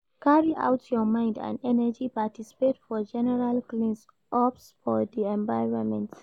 Carry out your mind and energy participate for general cleans ups for di environment